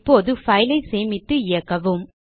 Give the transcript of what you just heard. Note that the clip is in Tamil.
இப்போது பைல் ஐ சேமித்து இயக்கவும்